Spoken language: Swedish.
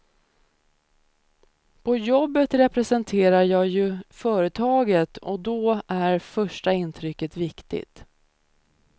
På jobbet representerar jag ju företaget, och då är första intrycket viktigt.